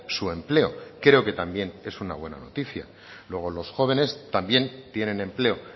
su empleo creo que también es una buena noticia luego los jóvenes también tienen empleo